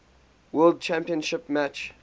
world championship match